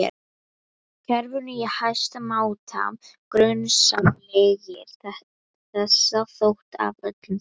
kerfinu í hæsta máta grunsamlegir, þessa nótt af öllum nótt